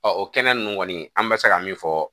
o kɛnɛ ninnu kɔni an bɛ se ka min fɔ